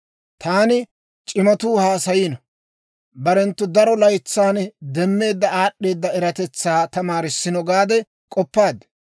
Taani, ‹C'imatuu haasayino; barenttu daro laytsan demmeedda aad'd'eeda eratetsaa tamaarissino› gaade k'oppaad.